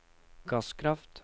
gasskraft